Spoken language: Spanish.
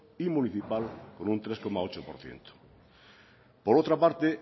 y municipal con un tres coma ocho por ciento por otra parte